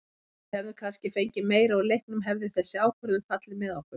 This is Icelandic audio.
Við hefðum kannski fengið meira úr leiknum hefði þessi ákvörðun fallið með okkur.